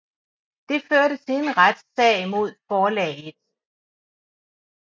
Det førte til en retssag mod forlaget